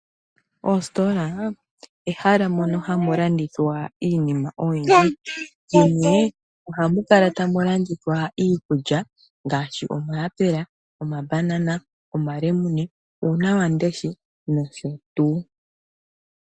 Ositola ehala mono hamu landithwa iinima oyindji dhimwe ohamu kala tamu landithwa iikulya ngaashi omayapela, omambanana , omalemune , uuna wamundesha nosho tuu.